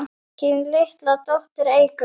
Þín litla dóttir, Eygló.